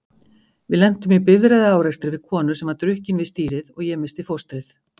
Við lentum í bifreiðaárekstri við konu sem var drukkin við stýrið og ég missti fóstrið.